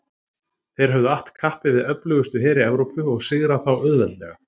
þeir höfðu att kappi við öflugustu heri evrópu og sigrað þá auðveldlega